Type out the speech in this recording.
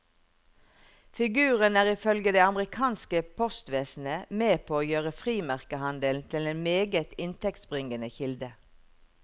Figuren er ifølge det amerikanske postvesenet med på å gjøre frimerkehandelen til en meget inntektsbringende kilde.